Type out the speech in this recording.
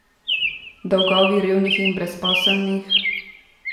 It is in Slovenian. Dolgovi revnih in brezposelnih?